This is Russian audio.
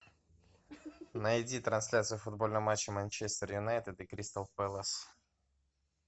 найди трансляцию футбольного матча манчестер юнайтед и кристал пэлас